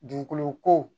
Dugukolo ko